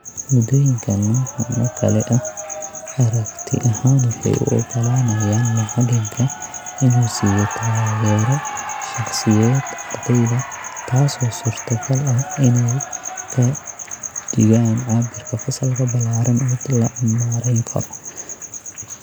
Moodooyinka noocaan oo kale ah aragti ahaan waxay u oggolaanayaan macalinka inuu siiyo taageero shaqsiyeed ardyada, taasoo suurta gal ah inay ka dhigaan cabbirka fasalka ballaaran mid la maarayn karo.